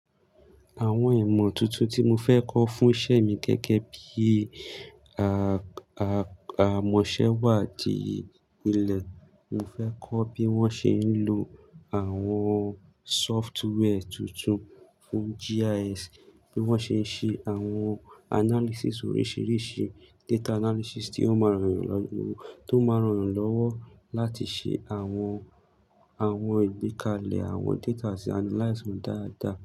Àwọn ìmọ̀ tuntun tí mo fẹ́ kọ́ fún iṣẹ́ mi gẹ́gẹ́ bí i a-a-àmọ̀sẹ́wàdí ilẹ̀, mo fẹ́ kọ́ bí wọ́n ṣe ń lo àwọn software tuntun fún GIS, bí wọ́n ṣe ń ṣe àwọn analysis oríṣiríṣi, data analysis tí ó máa rọrùn lọ́-- tí ó máa ran eèyàn lọ́wọ́ láti ṣe àwọn, àwọn ìgbékalẹ̀ àwọn data àti analyze wọn dáadáa.